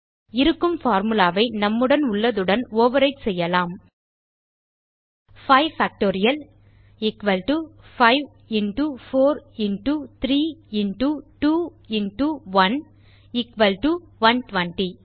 இருக்கும் பார்முலா ஐ நம்மிடம் உள்ளதுடன் ஓவர்விரைட் செய்யலாம் 5 factorial 5 into 4 into 3 into 2 into 1 120